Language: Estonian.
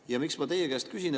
Ja miks ma teie käest küsin?